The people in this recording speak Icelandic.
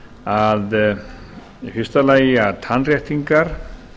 að í fyrsta lagi að tannréttingar